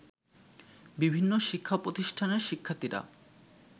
বিভিন্ন শিক্ষা প্রতিষ্ঠানের শিক্ষার্থীরা